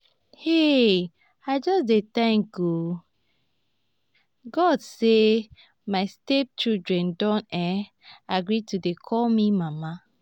um i just dey thank um god say my step children don um agree to dey call me mama